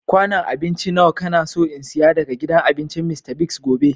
Kwanun abinci nawa ka na so n'siya daga gidan abincin Mr. Biggs gobe?